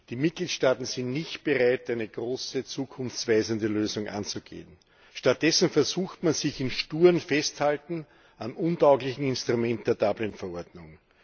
Die Mitgliedstaaten sind nicht bereit, eine große zukunftsweisende Lösung anzugehen, stattdessen versucht man sich im sturen Festhalten am untauglichen Instrument der Dublin Verordnung.